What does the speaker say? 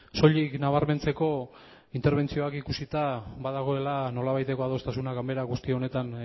soilik nabarmentzeko interbentzioak ikusita badagoela nolabaiteko adostasuna ganbara guzti honetan